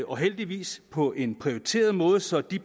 og heldigvis på en prioriteret måde så de